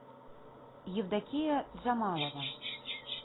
евдокия джамалова